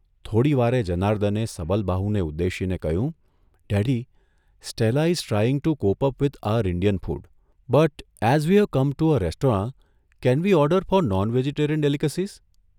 થોડીવારે જનાર્દને સબલબાહુને ઉદ્દેશીને કહ્યું, ' પણ, Stella is trying to cope up with our Indian food, but as we have come to a restaurant can we order for non vegetarian ડેલીક્સીઝ?